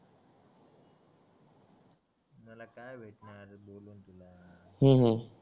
मला काय भेटणार बोलून तुला हू हू